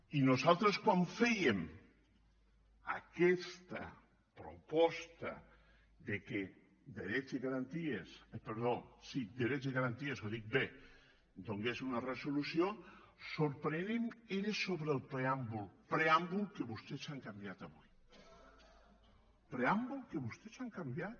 i nosaltres quan fèiem aquesta proposta que drets i garanties hi donés una resolució sorprenent era sobre el preàmbul preàmbul que vostès han canviat avui preàmbul que vostès han canviat